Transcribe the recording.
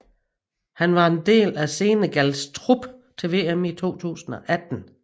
Han var del af Senegals trup til VM 2018